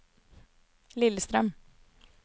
Lillestrøm